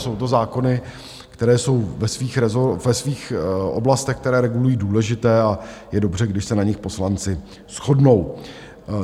Jsou to zákony, které jsou ve svých oblastech, které regulují, důležité a je dobře, když se na nich poslanci shodnou.